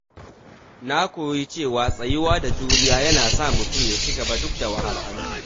Na koyi cewa tsayuwa da juriya yana sa mutum ya ci gaba duk da wahalhalu.